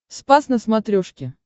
спас на смотрешке